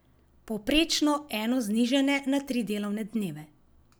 Povprečno eno znižanje na tri delovne dneve!